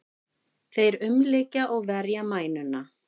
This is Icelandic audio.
Þeir umlykja og verja mænuna.